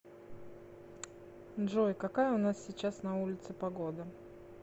джой какая у нас сейчас на улице погода